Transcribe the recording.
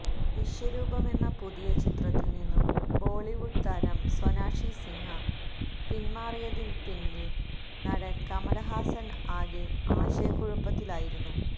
വിശ്വരൂപമെന്ന പുതിയ ചിത്രത്തില് നിന്നും ബോളിവുഡ് താരം സോനാക്ഷി സിന്ഹ പിന്മാറിയതില്്പ്പിന്നെ നടന് കമല്ഹാസന് ആകെ ആശയക്കുഴപ്പത്തിലായിരുന്നു